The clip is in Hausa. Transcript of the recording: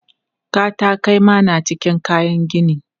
Katakai ma na cikin kayan gini.